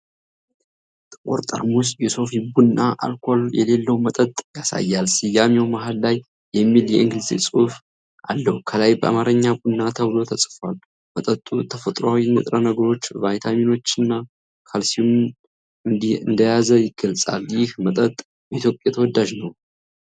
ጥቁር ጠርሙስ የሶፊ ቡና አልኮል የሌለው መጠጥ ያሳያል። ስያሜው መሃል ላይ የሚል የእንግሊዝኛ ጽሑፍ አለው። ከላይ በአማርኛ "ቡና" ተብሎ ተጽፏል። መጠጡ ተፈጥሯዊ ንጥረ ነገሮችን፣ ቫይታሚኖችን እና ካልሲየምን እንደያዘ ይገልጻል። ይህ መጠጥ በኢትዮጵያ ተወዳጅ ነውን?